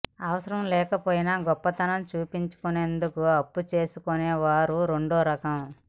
అవసరం లేకపోయినా గొప్పతనం చూపించుకునేందుకు అప్పు తీసుకునే వారు రెండో రకం